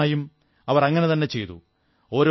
നിശ്ചയമായും അവർ അങ്ങനതന്നെ ചെയ്തു